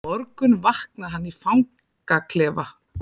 Í morgun vaknaði hann í fangaklefa.